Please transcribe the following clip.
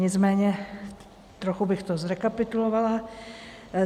Nicméně trochu bych to zrekapitulovala.